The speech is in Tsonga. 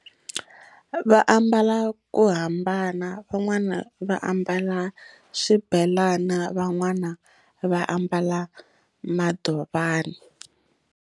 Va ambala ku hambana van'wana va ambala swibelani van'wana va ambala madovani.